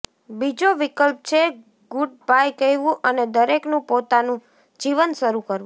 બીજો વિકલ્પ છે ગુડબાય કહેવું અને દરેકનું પોતાનું જીવન શરૂ કરવું